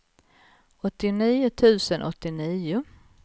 åttionio tusen åttionio